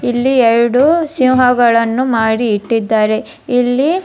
ಇಲ್ಲಿ ಎರಡು ಸಿಂಹಗಳನ್ನು ಮಾಡಿ ಇಟ್ಟಿದ್ದಾರೆ ಇಲ್ಲಿ --